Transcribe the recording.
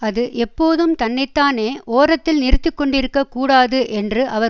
அது எப்போதும் தன்னை தானே ஓரத்தில் நிறுத்தி கொண்டிருக்க கூடாது என்று அவர்